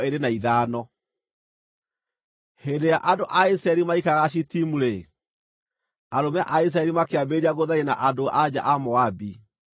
Hĩndĩ ĩrĩa andũ a Isiraeli maikaraga Shitimu-rĩ, arũme a Isiraeli makĩambĩrĩria gũtharia na andũ-a-nja a Moabi,